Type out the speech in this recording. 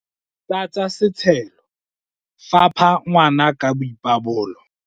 tlatsa setshelo, fapha ngwana ka boipabolo